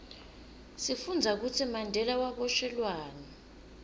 sifundza kutsi mandela waboshelwani